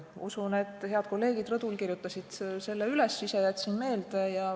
Usun, et head kolleegid rõdul kirjutasid selle üles, ise jätsin meelde.